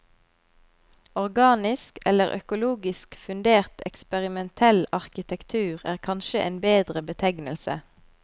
Organisk eller økologisk fundert eksperimentell arkitektur er kanskje en bedre betegnelse.